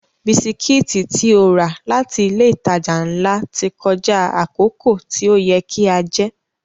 Bisikítì tí ó rà láti ilé ìtajà ńlá ti kọjá àkókò tí ó yẹ kí a jẹ́